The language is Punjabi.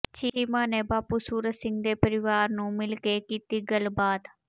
ਚੀਮਾ ਨੇ ਬਾਪੂ ਸੂਰਤ ਸਿੰਘ ਦੇ ਪਰਿਵਾਰ ਨੂੰ ਮਿਲਕੇ ਕੀਤੀ ਗੱਲਬਾਤ